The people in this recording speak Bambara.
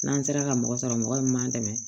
N'an sera ka mɔgɔ sɔrɔ mɔgɔ min m'an dɛmɛ